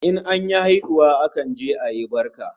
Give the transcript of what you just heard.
In an yi haihuwa akan je ayi barka